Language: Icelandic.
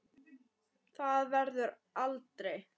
Það verður aldrei.